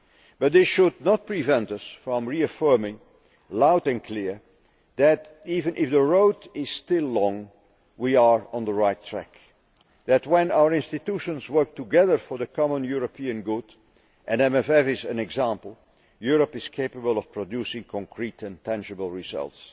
But this should not prevent us from reaffirming loud and clear that, even if the road is still long, we are on the right track and that when our institutions work together for the common European good and the MFF is an example Europe is capable of producing concrete, tangible results.